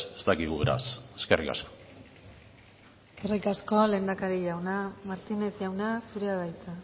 ez dakigu beraz eskerrik asko eskerrik asko lehendakari jauna martínez jauna zurea da hitza